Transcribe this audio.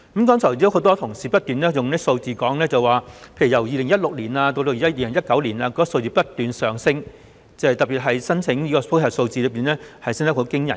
剛才很多同事提出一些數字，例如由2016年至2019年，有關的個案數字不斷上升，特別是申請司法覆核的個案升幅驚人。